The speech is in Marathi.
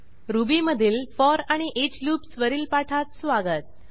रुबीमधील फोर आणि ईच लूप्स वरील पाठात स्वागत